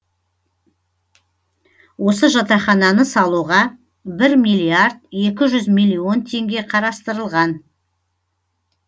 осы жатақхананы салуға бір миллиард екі жүз милллион теңге қарастырылған